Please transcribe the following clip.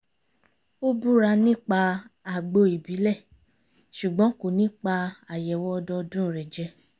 ó búra nípa àgbo ìbílẹ̀ ṣùgbọ́n kò ní pa àyẹ̀wò ọdọọdún rẹ̀ jẹ